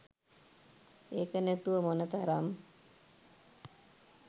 ඒක නැතුව මොන තරම්